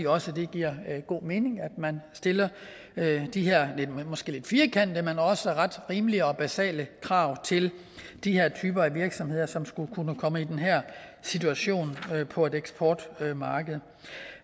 også det giver god mening at man stiller de her måske lidt firkantede men også ret rimelige og basale krav til de her typer af virksomheder som skulle kunne komme i den her situation på et eksportmarked